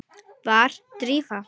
Var Drífa?